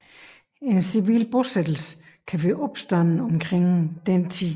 En civil bosættelse kan være opstået omkring denne